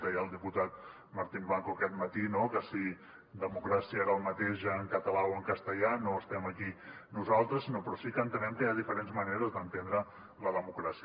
deia el diputat martín blanco aquest matí no que si democràcia era el mateix en català o en castellà no estem aquí nosaltres però sí que entenem que hi ha diferents maneres d’entendre la democràcia